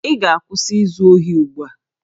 Ị ga-akwụsị izu ohi ugbu a!